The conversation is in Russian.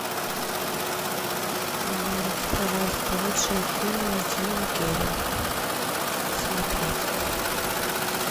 найди пожалуйста лучшие фильмы с джимом керри смотреть